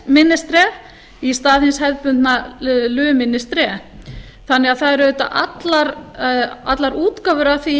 la ministre í stað hins hefðbundna le ministre þannig að það er auðvitað allar útgáfur af því í